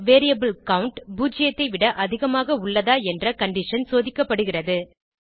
பின் variable count பூஜ்ஜியத்தைவிட அதிகமாக உள்ளதா என்ற கண்டிஷன் சோதிக்கப்படுகிறது